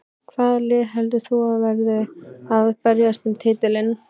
Hvaða lið heldur þú að verði að berjast um titilinn?